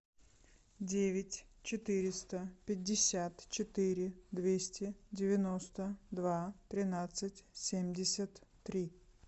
девять четыреста пятьдесят четыре двести девяносто два тринадцать семьдесят три